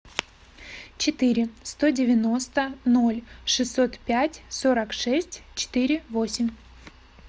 четыре сто девяносто ноль шестьсот пять сорок шесть четыре восемь